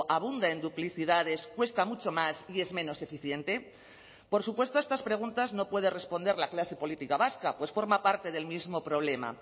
abunde en duplicidades cuesta mucho más y es menos eficiente por supuesto a estas preguntas no puede responder la clase política vasca pues forma parte del mismo problema